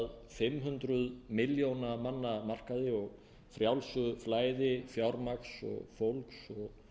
fimm hundruð milljóna manna markaði og frjálsu flæði fjármagns og fólks og